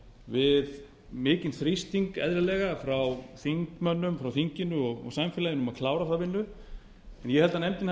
við mikinn þrýsting eðlilega frá þingmönnum frá þinginu og samfélaginu um að klára þá vinnu ég held að nefndin